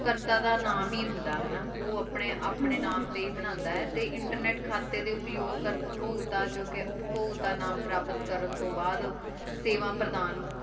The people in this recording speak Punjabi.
ਕਰਤਾ ਦਾ ਨਾਮ ਈ ਹੁੰਦਾ ਹਾਨਾ ਊ ਅਪਨੇ ਅਪਨੇ ਨਾਮ ਟੀ ਈ ਬਣਾਂਦਾ ਆਯ ਤੇ internet ਖਾਤੇ ਦੇ ਉਪਯੋਗ ਭੋਗਤਾ ਜੋ ਕੇ ਉਪ੍ਪੋਗਤਾ ਨਾਮ ਪਰਾਪਤ ਕਰਨ ਤੋਂ ਬਾਅਦ ਸੇਵਾ ਪ੍ਰਦਾਨ